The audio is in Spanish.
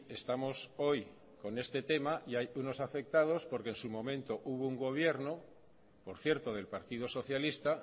estamos hoy con este tema y hay unos afectados porque en su momento hubo un gobierno por cierto del partido socialista